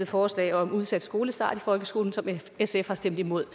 forslag om udsat skolestart i folkeskolen som sf har stemt imod